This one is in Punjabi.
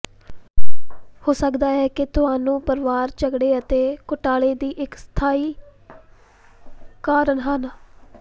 ਹੋ ਸਕਦਾ ਹੈ ਕਿ ਤੁਹਾਨੂੰ ਪਰਿਵਾਰ ਝਗੜੇ ਅਤੇ ਘੁਟਾਲੇ ਦੀ ਇੱਕ ਸਥਾਈ ਕਾਰਨ ਹਨ